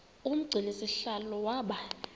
umgcini sihlalo waba